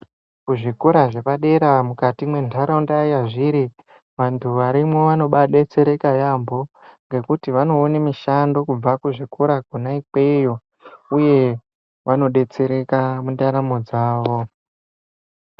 Kuzvikora zvepadera mundaraunda yazviri , vantu varimwo vanobaadetsereke yaambo ngokuti vanoone mishando kubva kuzvikora kona ikweyo uye vanodetsereka mundaramo dzavo.